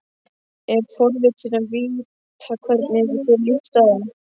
Er forvitin að vita hvernig þér líst á.